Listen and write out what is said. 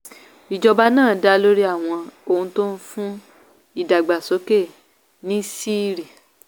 ìjọba náà dá lórí àwọn ohun tó ń fún ìdàgbàsókè níṣìírí.